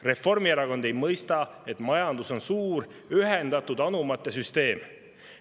Reformierakond ei mõista, et majandus on suur ühendatud anumate süsteem.